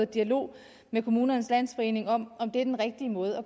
dialog med kommunernes landsforening om om det er den rigtige måde at